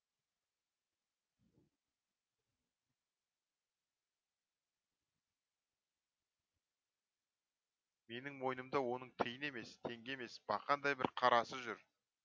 менің мойнымда оның тиын емес теңге емес бақандай бір қарасы жүр